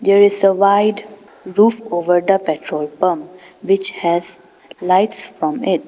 There is a white roof over the petrol pump which has lights on it.